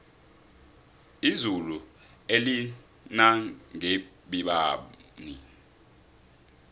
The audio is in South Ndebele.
izulu elinangebibani